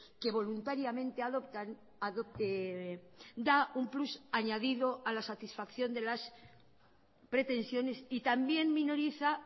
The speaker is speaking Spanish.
que voluntariamente adoptan da un plus añadido a la satisfacción de las pretensiones y también minoriza